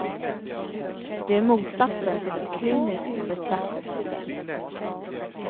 Det är motsatsen till ett kliniskt betraktelsesätt.